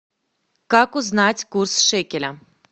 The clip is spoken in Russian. как узнать курс шекеля